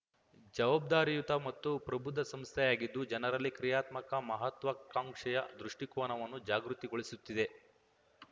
ಜವಾಬ್ದಾರಿಯುತ ಮತ್ತು ಪ್ರಬುದ್ಧ ಸಂಸ್ಥೆಯಾಗಿದ್ದು ಜನರಲ್ಲಿ ಕ್ರಿಯಾತ್ಮಕ ಮಹಾತ್ವಾಕಾಂಕ್ಷೆಯ ದೃಷ್ಟಿಕೋನವನ್ನು ಜಾಗೃತಿಗೊಳಿಸುತ್ತಿದೆ